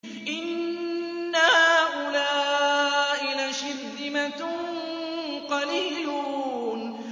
إِنَّ هَٰؤُلَاءِ لَشِرْذِمَةٌ قَلِيلُونَ